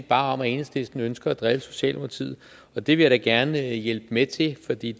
bare om at enhedslisten ønsker at drille socialdemokratiet og det vil jeg da gerne hjælpe med til for det